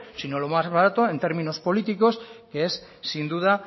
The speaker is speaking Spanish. sino lo más barato en términos políticos que es sin duda